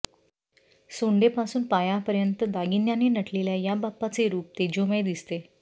सोंडें पासून पायापर्यंत दागिन्यांनी नटलेल्या याबाप्पाचे रूप तेजोमय दिसते